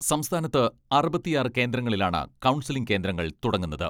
സംസ്ഥാനത്ത് അറുപത്തിയാറ് കേന്ദ്രങ്ങളിലാണ് കൗൺസിലിംഗ് കേന്ദ്രങ്ങൾ തുടങ്ങുന്നത്.